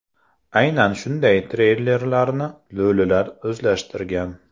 Aynan shunday treylerlarni lo‘lilar o‘zlashtirgan.